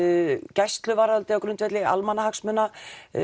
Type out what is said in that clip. gæsluvarðhaldi á grundvelli almannahagsmuna